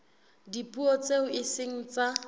dipuo tseo e seng tsa